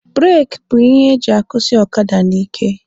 Bureki bụ ihe eji akwụsị ọkada n'ike.